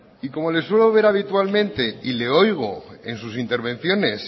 y como le suelo ver habitualmente y le oigo en sus intervenciones